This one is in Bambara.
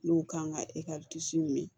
N'u kan ka min